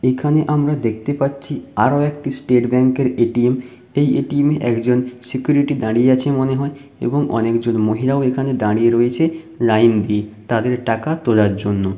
এখানে আমরা দেখতে পাচ্ছি আরো একটি স্টেট ব্যাংক এর এ.টি.এম এই এ.টি.এম একজন সিকিউরিটি দাঁড়িয়ে আছে মনে হয় এবং অনেকজন মহিলাও এখানে দাঁড়িয়ে রয়েছে লাইন দিয়ে তাদের টাকা তোলার জন্য।